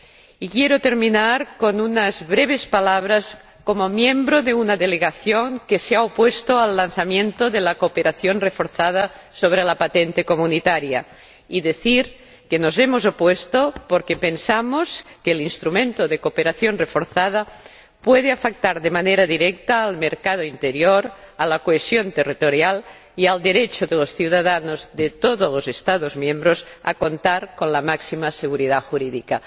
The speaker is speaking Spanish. Y quiero terminar con unas breves palabras como miembro de una delegación que se ha opuesto al lanzamiento de la cooperación reforzada sobre la patente comunitaria, y decir que nos hemos opuesto porque pensamos que el instrumento de cooperación reforzada puede afectar de manera directa al mercado interior, a la cohesión territorial y al derecho de los ciudadanos de todos los Estados miembros a contar con la máxima seguridad jurídica.